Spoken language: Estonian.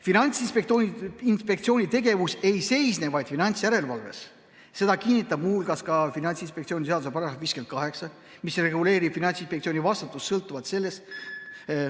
Finantsinspektsiooni tegevus ei seisne vaid finantsjärelevalves, seda kinnitab muu hulgas ka Finantsinspektsiooni seaduse § 58, mis reguleerib Finantsinspektsiooni vastutust sõltuvalt sellest ...